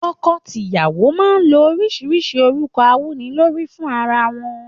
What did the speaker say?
Toko tìyàwó máa ń lo oríṣiríṣi orúkọ awúnilórí fún ara wọn.